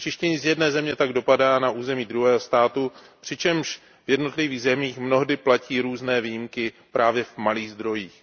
Znečištění z jedné země tak dopadá na území druhého státu, přičemž v jednotlivých zemích mnohdy platí různé výjimky právě v malých zdrojích.